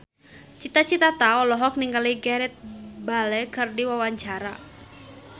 Cita Citata olohok ningali Gareth Bale keur diwawancara